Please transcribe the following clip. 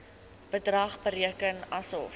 bedrag bereken asof